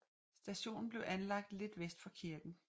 Stationen blev anlagt lidt vest for kirken